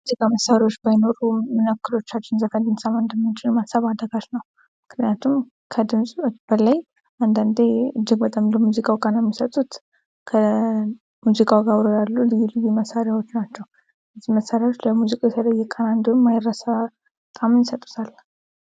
ሙዚቃ መሳሪያዎች ባይኖሩ ምን ያህልዎቻችን ዘፈን ልንሰሠማ እንደምንችል ማሰብ አዳጋች ምክንያቱም ከድምፁ በላይ አንዳንዴ እጅግ በጣም ቃና የሚሰጡት አብረውት ያሉ የሙዚቃ መሳሪያዎች ናቸው። ለሙዚቃውም የማይረሳ ጣዕም ይሰጡታል።